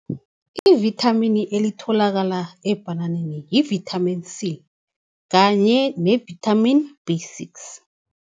Ivithamini elitholakala ebhananeni yi-vitamin C kanye ne-vitamin B six.